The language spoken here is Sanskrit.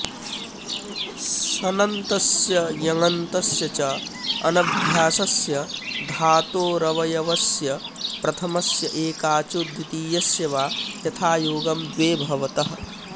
सनन्तस्य यङन्तस्य च अनभ्यासस्य धातोरवयवस्य प्रथमस्य एकाचो द्वितीयस्य वा यथायोगं द्वे भवतः